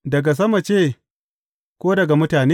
Daga sama ce, ko daga mutane?